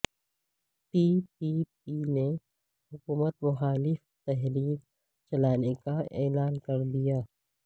پی P P نے حکومت مخالف تحریک چلانے کا اعلان کردیا